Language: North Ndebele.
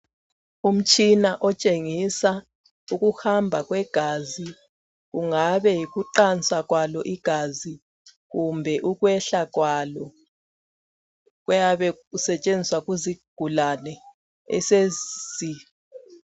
Umtshina otshengisa ukuhamba kwegazi. Kungabe yikuqansa kwalo igazi kumbe ukwehla kwalo. Kuyabe kusetshenziswa kuzigulane.